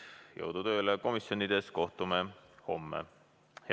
Jõudu tööle komisjonides, kohtume homme!